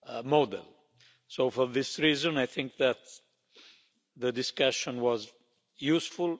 model, so for this reason I think that the discussion was useful.